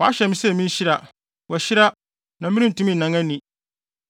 Wɔahyɛ me sɛ minhyira; wahyira, na merentumi nnan ani!